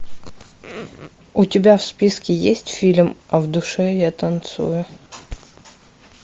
у тебя в списке есть фильм а в душе я танцую